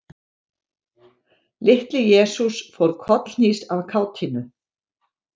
Litli-Jesús fór kollhnís af kátínu.